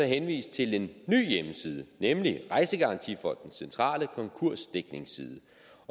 henvist til en ny hjemmeside nemlig rejsegarantifondens centrale konkursdækningsside